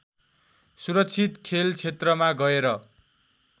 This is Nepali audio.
सुरक्षित खेलक्षेत्रमा गएर